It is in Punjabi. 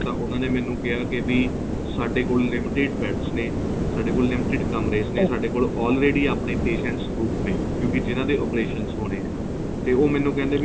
ਤਾਂ ਉਹਨਾ ਨੇ ਮੈਨੂੰ ਕਿਹਾ ਕੇ ਵੀ ਸਾਡੇ ਕੋਲ limited beds ਨੇ ਸਾਡੇ ਕੋਲ limited ਕਮਰੇ ਨੇ ਸਾਡੇ ਕੋਲ already ਆਪਣੇਂ patients booked ਨੇ ਕਿਉਂਕਿ ਜਿਹਨਾ ਦੇ operations ਹੋਣੇ ਏ ਤੇ ਮੈਨੂੰ ਕਹਿੰਦੇ ਵੀ